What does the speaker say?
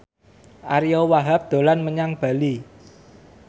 Ariyo Wahab dolan menyang Bali